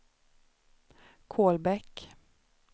Kolbäck